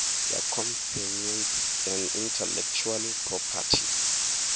ya companies and intellectual property